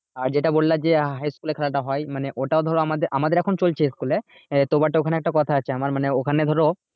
আর যেটা বললে যে high school এ খেলাটা হয় মানে ওটাও ধরো আমাদের আমাদের এখন চলছে school এ আহ তো but ওখানে একটা কথা আছে আমার মানে ওখানে ধরো